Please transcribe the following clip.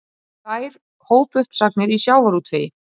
Einsdæmin eru verst.